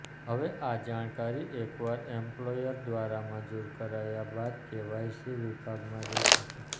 હવે આ જાણકારી એકવાર એમ્પ્લોયર દ્વારા મંજૂર કરાયા બાદકેવાયસી વિભાગમાં દેખાશે